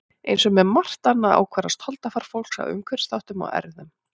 Eins og með margt annað ákvarðast holdafar fólks af umhverfisþáttum og erfðum.